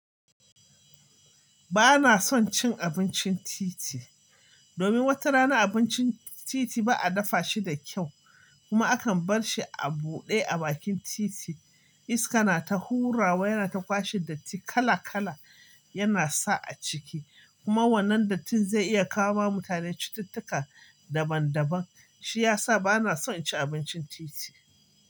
Bana son cin abincin titi, domin wata rana abincin titi ba a dafa shi da kyau kuma akan bar shi a buɗe a bakin titi. Iska na ta hurawa yana ta kwashe datti kala-kala yana sa a ciki kuma wannan dattin zai iya kawo wa mutane cututtuka daban-daban. Shi ya sa bana son cin abincin titi.